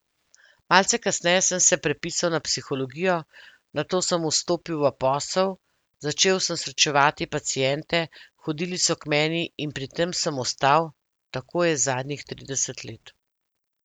Malce kasneje sem se prepisal na psihologijo, nato sem vstopil v posel, začel sem srečevati paciente, hodili so k meni in pri tem sem ostal, tako je zadnjih trideset let.